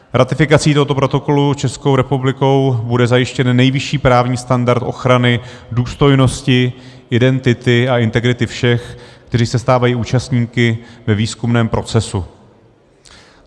Ratifikací tohoto protokolu Českou republikou bude zajištěn nejvyšší právní standard ochrany důstojnosti, identity a integrity všech, kteří se stávají účastníky ve výzkumném procesu.